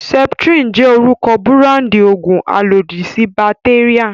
Septrin jẹ́ orúkọ búráńdì òògùn alòdì sí bàtéríà.